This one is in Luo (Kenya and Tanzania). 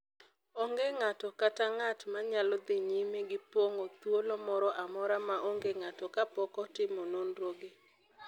Onge ng’ato kata ng’at ma nyalo dhi nyime gi pong’o thuolo moro amora ma onge ng’ato kapok otimo nonro gi,